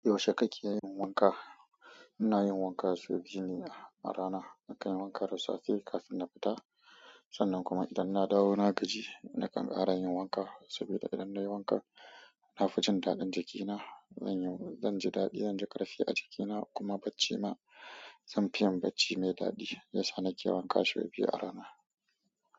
Yaushe kake yin wanka? Ina yin wanka so biyu ne a rana. Nakanyi wanka da safe kafin na fita sannan kuma idan nadawo nagaji nakan ƙara yin wanka saboda idan nayi wanka, na fi jin daɗin jikina. Zanyi-- zan ji daɗi, zan ji ƙarfi a jikina kuma bacci ma. Zanfi yin bacci mai daɗi. Ya sa nake wanka sau biyu a rana.